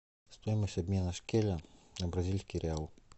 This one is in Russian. стоимость обмена шекеля на бразильский реал